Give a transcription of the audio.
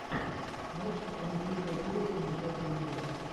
матч между кристал пэлас и ньюкасл юнайтед